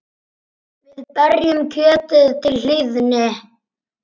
Við berjum kjötið til hlýðni.